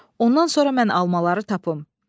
Ondan sonra mən almaları tapım.